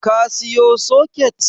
Ka siyo soket?